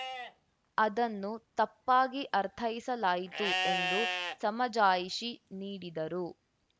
ಅದನ್ನು ತಪ್ಪಾಗಿ ಅರ್ಥೈಸಲಾಯಿತು ಎಂದು ಸಮಜಾಯಿಷಿ ನೀಡಿದರು